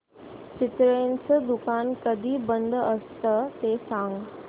चितळेंचं दुकान कधी बंद असतं ते सांग